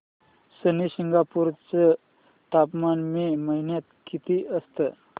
शनी शिंगणापूर चं तापमान मे महिन्यात किती असतं